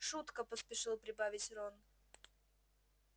шутка поспешил прибавить рон